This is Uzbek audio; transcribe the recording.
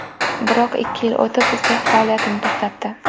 Biroq ikki yil o‘tib, sex faoliyatini to‘xtatdi.